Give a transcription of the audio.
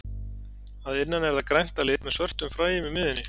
Að innan er það grænt að lit með svörtum fræjum í miðjunni.